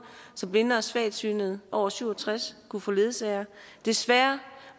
så blinde og svagsynede over syv og tres år kunne få en ledsager desværre